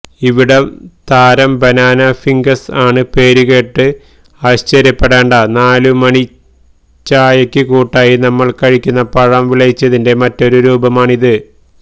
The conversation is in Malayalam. ഇവിടെ താരം ബനാന ഫിഗ്സ് ആണ് പേരുകേട്ട് ആശ്ചര്യപെടേണ്ട നാലുമണിച്ചയക്കു കൂട്ടായി നമ്മൾ കഴിക്കുന്ന പഴം വിളയിച്ചതിന്റെ മറ്റൊരു രൂപമാണിത്